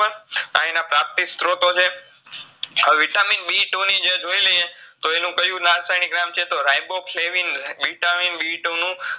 આ એના પ્રાપ્તિસ્ત્રોતો છે Vitamin B two નીજ જોઇલાઈએ એનું કયું રાસાયનીક નામ છે તો Riboflavin Vitamin B two નું